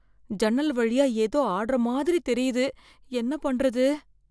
ஜன்னல் வழியா ஏதோ ஆடுற மாதிரி தெரியுது. என்ன பண்றது?